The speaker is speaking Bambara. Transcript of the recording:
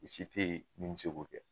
Si te yen mun be se k'o kɛ.